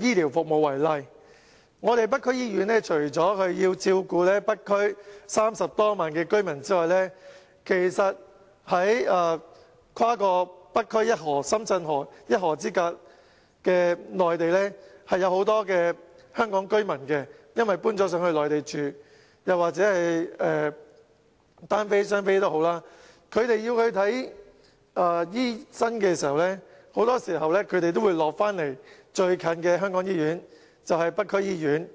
醫療服務為例，北區醫院除了要照顧北區30多萬居民外，跨過北區一河——深圳河——一河之隔的內地有很多香港居民，他們因為遷到內地居住，以及"單非"及"雙非"兒童，他們需要醫療服務的時候，很多時都會到香港最就近的醫院，即北區醫院。